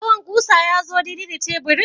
Tsawon ƙusa ya zo daidai da teburin?